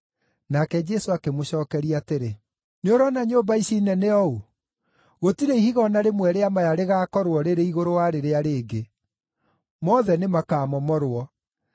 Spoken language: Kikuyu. Nake Jesũ akĩmũcookeria atĩrĩ, “Nĩũrona nyũmba ici nene ũũ? Gũtirĩ ihiga o na rĩmwe rĩa maya rĩgaakorwo rĩrĩ igũrũ wa rĩrĩa rĩngĩ; mothe nĩmakamomorwo.”